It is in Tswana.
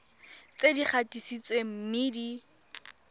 tse di gatisitsweng mme di